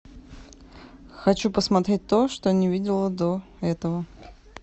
хочу посмотреть то что не видела до этого